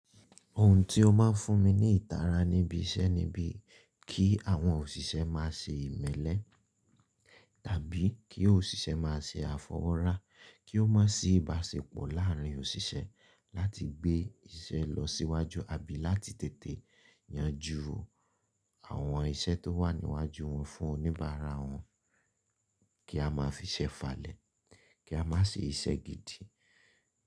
Ohun tí ó máa ń fún mi ní ìtara níbi iṣẹ́ ni bí kí àwọn òṣìṣẹ́ máa ṣe ìmẹ́lẹ́ tàbí kí òṣìṣẹ́ máa ṣe àfọwọ́ra, kí ó má sì baṣepọ̀ láàárín òṣìṣẹ́ láti gbé iṣẹ́ lọ síwájú àbí láti tètè yanjú àwọn iṣẹ́ tó wà níwájú wọn fún oníbàárà wọn, kí a máa fi ṣẹ́ falẹ̀, kí a má ṣe iṣẹ́ gidi.